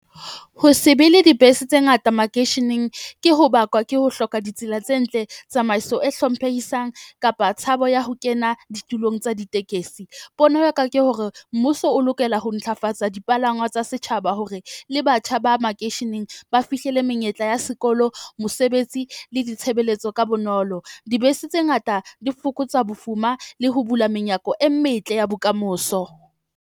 Ho se be le dibese tse ngata makeisheneng. Ke ho bakwa ke ho hloka ditsela tse ntle, tsamaiso e hlomphehisang kapa tshabo ya ho kena ditulong tsa ditekesi. Pono ya ka ke hore mmuso o lokela ho ntlafatsa dipalangwa tsa setjhaba, hore le batjha ba makeisheneng ba fihlele menyetla ya sekolo, mosebetsi le ditshebeletso ka bonolo. Dibese tse ngata di fokotsa bofuma le ho bula menyako e metle ya bokamoso.